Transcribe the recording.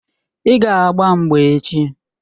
Ị ga-agba mgba echi!